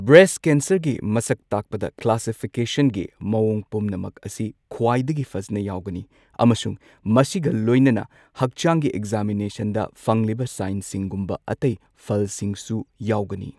Breast ꯀꯦꯟꯁꯔꯒꯤ ꯃꯁꯛ ꯇꯥꯛꯄꯗ ꯀ꯭ꯂꯥꯁꯤꯐꯤꯀꯦꯁꯟꯒꯤ ꯃꯑꯣꯡ ꯄꯨꯝꯅꯃꯛ ꯑꯁꯤ ꯈ꯭ꯋꯥꯏꯗꯒꯤ ꯐꯖꯅ ꯌꯥꯎꯒꯅꯤ, ꯑꯃꯁꯨꯡ ꯃꯁꯤꯒ ꯂꯣꯏꯅꯅ ꯍꯛꯆꯥꯡꯒꯤ ꯑꯦꯛꯖꯥꯃꯤꯅꯦꯁꯟꯗ ꯐꯪꯂꯤꯕ ꯁꯥꯏꯟꯁꯤꯡꯒꯨꯝꯕ ꯑꯇꯩ ꯐꯜꯁꯤꯡꯁꯨ ꯌꯥꯎꯒꯅꯤ꯫